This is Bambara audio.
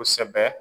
Kosɛbɛ